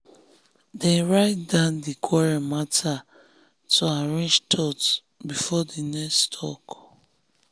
dem write down di quarrel matter quarrel matter to arrange thoughts before next talk.